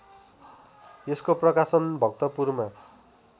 यसको प्रकाशन भक्तपुरमा